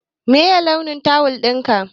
Meye launin tawul ɗinka?